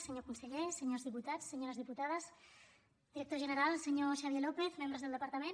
senyor conseller senyors diputats senyores diputades director general senyor xavier lópez membres del departament